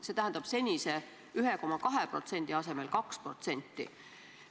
See tähendab senise 1,2% asemel 2%.